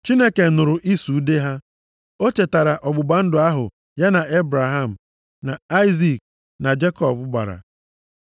Chineke nụrụ ịsụ ude ha. O chetara ọgbụgba ndụ ahụ ya na Ebraham, na Aịzik, na Jekọb gbara.